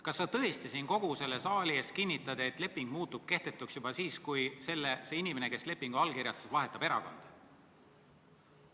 Kas sa tõesti kogu selle saali ees kinnitad, et leping muutub kehtetuks siis, kui see inimene, kes lepingu allkirjastas, vahetab erakonda?